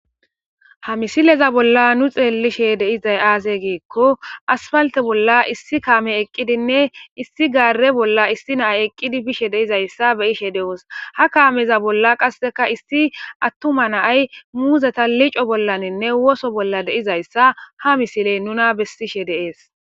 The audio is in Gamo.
ha misileza bolla nu xeellishe deizay aaze giekko asfalte bolla issi kaame eqqidinne issi gaare bolla issi naay eqqidi bishe deizayssa beyishe de7os ha kaameza bolla qasseka issi attuma naay muuzeta lico bollaninne woso bolla deizayssa ha misiley nuna bessishe deees